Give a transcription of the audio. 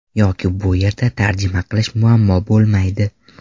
Yoki bu yerda tarjima qilish muammo bo‘lmaydi.